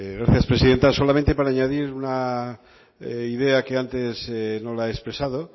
gracias presidenta solamente para añadir una idea que antes no la he expresado